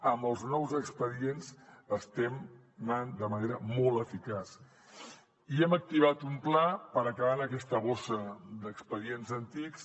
amb els nous expedients estem anant de manera molt eficaç i hem activat un pla per acabar amb aquesta bossa d’expedients antics